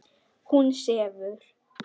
Hún sefur.